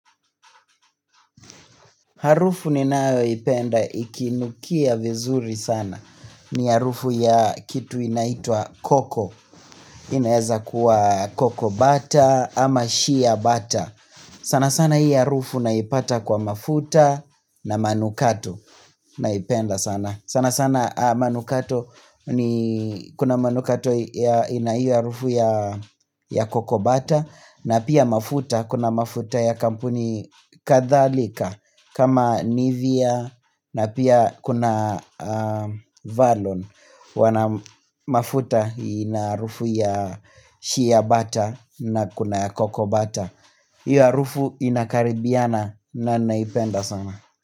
Harufu ninayoipenda ikinukia vizuri sana. Ni harufu ya kitu inaitwa koko. Inaweza kuwa koko bata ama shia bata. Sana sana hii harufu naipata kwa mafuta na manukato. Naipenda sana. Sana sana manukato ni kuna manukato ya ina hiyo harufu ya koko bata. Na pia mafuta kuna mafuta ya kampuni kadhalika. Kama nivea na pia kuna Valon Wanamafuta ina harufu ya shia bata na kuna ya koko bata. Hiyo harufu inakaribiana na naipenda sana.